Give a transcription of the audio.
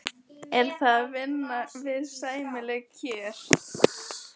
Er það að vinna við sæmileg kjör?